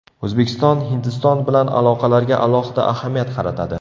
O‘zbekiston Hindiston bilan aloqalarga alohida ahamiyat qaratadi.